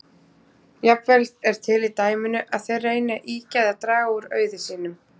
Jafnvel er til í dæminu að þeir reyni að ýkja eða draga úr auði sínum.